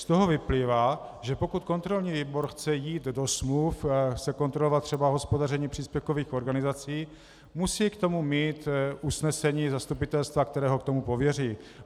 - Z toho vyplývá, že pokud kontrolní výbor chce jít do smluv, chce kontrolovat třeba hospodaření příspěvkových organizací, musí k tomu mít usnesení zastupitelstva, které ho k tomu pověří.